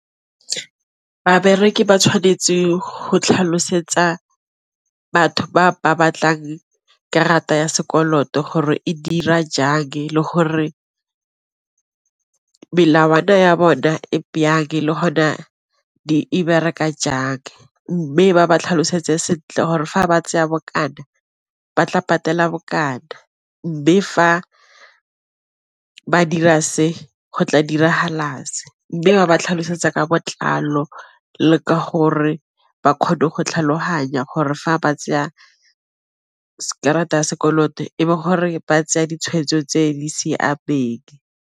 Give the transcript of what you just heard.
Babereki ba tshwanetse go tlhalosetsa batho ba ba batlang karata ya sekoloto gore e dira jang le gore melawana ya bona e le gona di e bereka jaaka, mme ba ba tlhalosetse gore fa ba tseya bokana ba tla patela bokana mme fa ba dira se go tla diragala se, mme a ba tlhalosetsa ka botlalo le ka gore ba kgone go tlhaloganya gore fa ba tseya karata ya sekoloto e gore ba tseya ditshwetso tse di siameng.